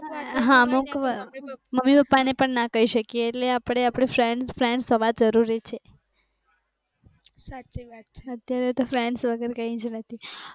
હા અમુક વાર મમ્મી પાપા ને પણ ના કઈ શકીએ ઍટલે આપણે આપણું friends હોવા જરૂરી છે અત્યારે તો friends વગર કઈ જ નથી